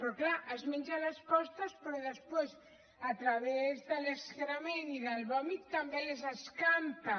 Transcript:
però clar es menja les postes però després a través de l’excrement i del vòmit també les escampa